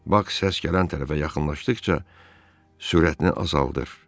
Bax səs gələn tərəfə yaxınlaşdıqca sürətini azaldır.